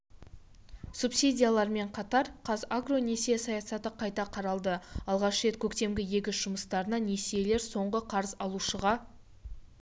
субсидиялармен қатар қазагро несие саясаты қайта қаралды алғаш рет көктемгі егіс жұмыстарына несиелер соңғы қарыз алушыға